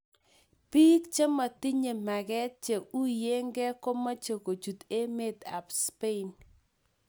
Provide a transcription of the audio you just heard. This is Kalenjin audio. Pik chemotinye menget che unyeke komoche kuchut emet ap spain.